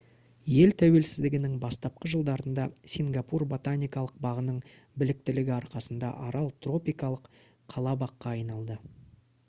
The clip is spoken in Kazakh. ел тәуелсіздігінің бастапқы жылдарында сингапур ботаникалық бағының біліктілігі арқасында арал тропикалық қала-баққа айналды